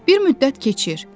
Bir müddət keçir.